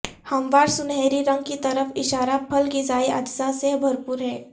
ہموار سنہری رنگ کی طرف اشارہ پھل غذائی اجزاء سے بھرپور ہے